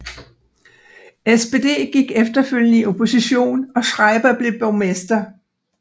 SPD gik efterfølgende i opposition og Schreiber blev borgmester